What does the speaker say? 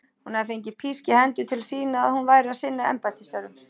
Hún hafði fengið písk í hendur til að sýna að hún væri að sinna embættisstörfum.